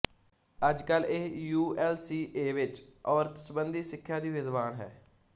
ਅੱਜਕਲ ਇਹ U L C A ਵਿੱਚ ਔਰਤ ਸੰਬੰਧੀ ਸਿੱਖਿਆ ਦੀ ਵਿਦਵਾਨ ਹੈ